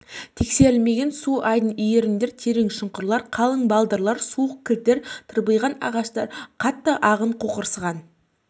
тексерілмеген су айдын иірімдер терең шұңқырлар қалың балдырлар суық кілттер тырбиған ағаштар қатты ағын қоқырсыған